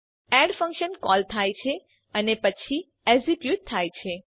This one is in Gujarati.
એડ ફંક્શન કોલ થાય છે અને પછી એક્ઝિક્યુટ થાય છે